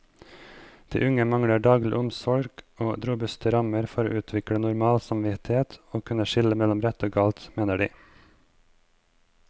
De unge mangler daglig omsorg og robuste rammer for å utvikle normal samvittighet og kunne skille mellom rett og galt, mener de.